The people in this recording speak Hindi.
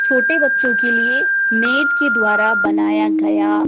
छोटे बच्चों के लिए नेट के द्वारा बनाया गया--